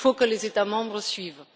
Il faut que les États membres suivent.